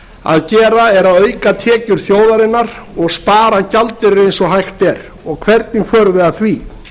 að gera er að auka tekjur þjóðarinnar og spara gjaldeyri eins og hægt er og hvernig förum við að því